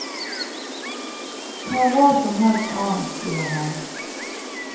Ta hva som helst annet, sier han.